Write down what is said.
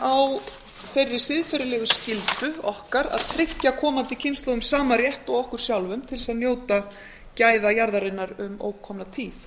á þeirri siðferðilegu skyldu okkar að tryggja komandi kynslóðum sama rétt og okkur sjálfum til að njóta gæða jarðarinnar um ókomna tíð